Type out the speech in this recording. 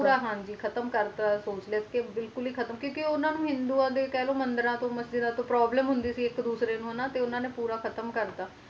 ਪੂਰਾ ਹਨ ਜੀ ਖਤਮ ਕਰ ਦਿੱਤਾ ਸੀ ਸੋਚ ਲਯੋ ਮਤਲਬ ਕ ਉਨ੍ਹਾਂ ਨੂੰ ਹਿੰਦੂਆਂ ਦੇ ਮੰਦਿਰਾਂ ਤੋਂ ਮਸਜਿਦਾਂ ਤੋਂ ਹੋਂਦੀ ਸੀ ਇਕ ਕਹਿ ਲੋ ਤੇ ਉਨ੍ਹਾਂ ਨੇ ਪੂਰਾ ਖਤਮ ਕਰ ਦਿੱਤਾ